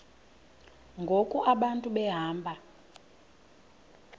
ngoku abantu behamba